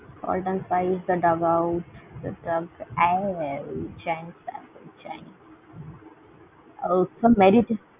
spice dug-out